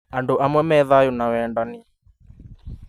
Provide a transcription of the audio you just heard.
Andũ amwe me thayũ na wendani